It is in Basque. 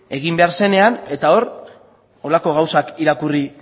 egin behar zenean eta hor horrelako gauzak irakurri